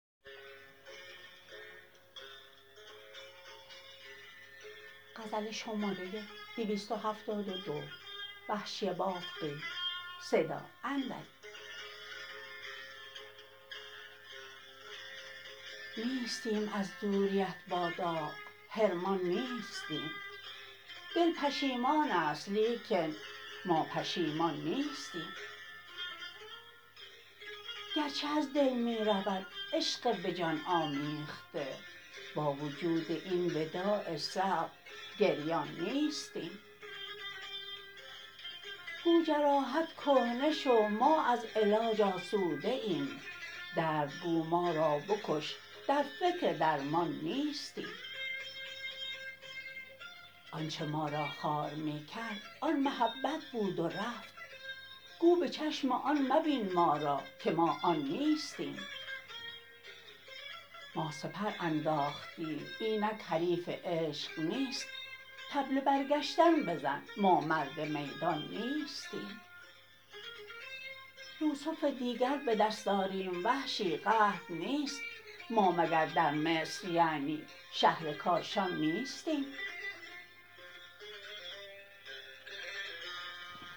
نیستیم از دوریت با داغ حرمان نیستیم دل پشیمان است لیکن ما پشیمان نیستیم گرچه از دل می رود عشق به جان آمیخته با وجود این وداع صعب گریان نیستیم گو جراحت کهنه شو ما از علاج آسوده ایم درد گو ما را بکش در فکر درمان نیستیم آنچه ما را خوار می کرد آن محبت بود و رفت گو به چشم آن مبین ما را که ما آن نیستیم ما سپر انداختیم اینک حریف عشق نیست طبل برگشتن بزن ما مرد میدان نیستیم یوسف دیگر به دست آریم وحشی قحط نیست ما مگر در مصر یعنی شهر کاشان نیستیم